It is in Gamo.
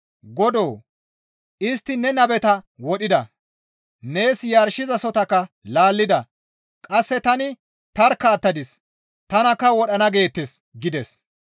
«Godoo! Istti ne nabeta wodhida; nees yarshizasohotakka laallida; qasse tani tarkka attadis; tanakka wodhana geettes» gides.